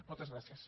moltes gràcies